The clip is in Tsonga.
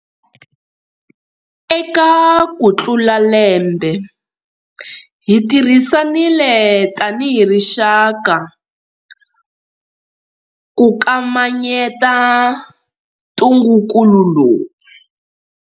Eka ku tlula lembe, hi tirhisanile tanihi rixaka ku kamanyeta ntungukulu lowu.